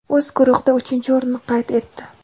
o‘z guruhida uchinchi o‘rinni qayd etdi.